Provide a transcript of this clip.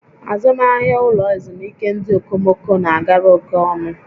Azụmahịa ụlọ ezumike ndị okomoko na agara oke ọnụ